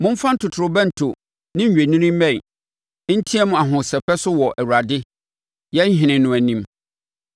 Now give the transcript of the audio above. momfa totorobɛnto ne nnwennini mmɛn, nteam ahosɛpɛ so wɔ Awurade, yɛn ɔhene no anim.